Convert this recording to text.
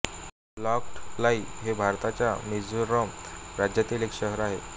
लॉँग्ट्लाइ हे भारताच्या मिझोरम राज्यातील एक शहर आहे